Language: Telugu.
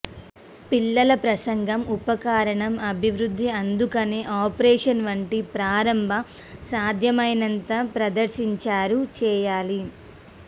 పిల్లల ప్రసంగం ఉపకరణం అభివృద్ధి అందుకని ఆపరేషన్ వంటి ప్రారంభ సాధ్యమైనంత ప్రదర్శించారు చేయాలి